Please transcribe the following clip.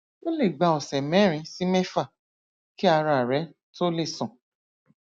ó lè gba ọsẹ mẹrin sí mẹfà kí ara rẹ tó lè san